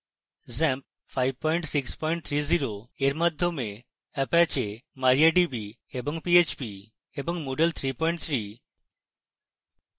xampp 5630 এর মাধ্যমে apache mariadb and php এবং moodle 33